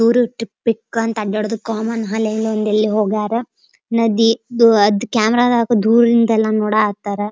Tour trip ಇಕ್ ಅಂತ common ಹಳೆ ಅಲ್ಲಿ ಎಲ್ ಒಂದ್ ಹೋಗ್ಯಾರ ನದಿ ಕ್ಯಾಮೆರಾ ಹಿಡ್ಕೊಂಡ್ ದೂರದಿಂದ ನೋಡ ಹತ್ತರ.